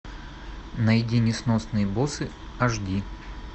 найди несносные боссы аш ди